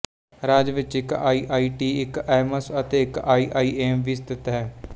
ਰਾਜ ਵਿਚ ਇੱਕ ਆਈਆਈਟੀ ਇੱਕ ਐਇਮਸ ਅਤੇ ਇੱਕ ਆਈਆਈਏਮ ਵੀ ਸਥਿਤ ਹੈ